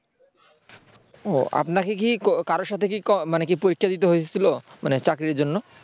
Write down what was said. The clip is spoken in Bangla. ও আপনাকে কি কারো সাথে মানে কি পরীক্ষা দিতে হয়েছিল মানে চাকরির জন্য